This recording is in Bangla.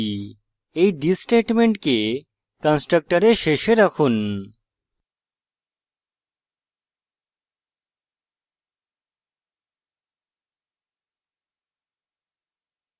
এই this স্টেটমেন্টকে কন্সট্রকটরে শেষে রাখুন